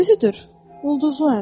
Özüdür, ulduzlar.